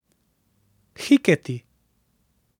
Hiketi.